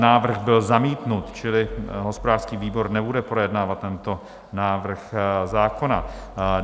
Návrh byl zamítnut, čili hospodářský výbor nebude projednávat tento návrh zákona.